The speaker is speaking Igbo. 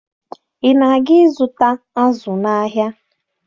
Ị na-aga ịzụta azụ n'ahịa?